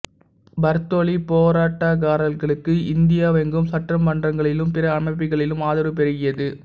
பர்தோலி போராட்டக்காரர்களுக்கு இந்தியாவெங்கும் சட்டமன்றங்களிலும் பிற அமைப்புகளிலும் ஆதரவு பெருகியது